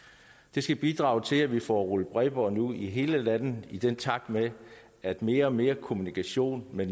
det skal bidrage til at vi får rullet bredbåndet ud i hele landet i takt med at mere og mere kommunikation med